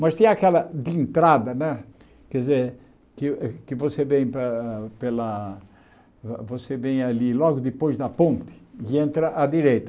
Mas tem aquela de entrada né quer dizer, que que você vem para pela vo você vem ali logo depois da ponte e entra à direita.